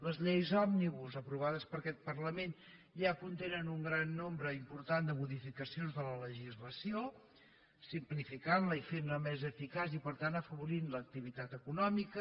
les lleis òmnibus aprovades per aquest parlament ja contenen un gran nombre impor·tant de modificacions de la legislació la simplificant i la fan més eficaç i per tant afavoreixen l’activitat eco·nòmica